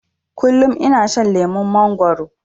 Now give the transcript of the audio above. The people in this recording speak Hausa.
Kullum ina shan lemon mangwaro